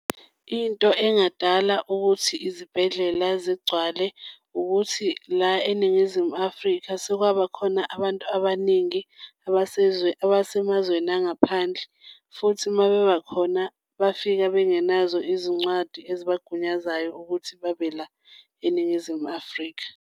Into engadala ukuthi izibhedlela zigcwale wukuthi la eNingizimu Afrika sekwabakhona abantu abaningi abasemazweni angaphandle. Futhi uma bebakhona bafika bengenazo izincwadi ezibagunyaza ukuthi babe la eNingizimu Afrika.